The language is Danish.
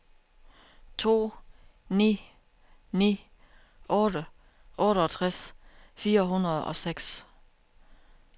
to ni ni otte otteogtres fire hundrede og seks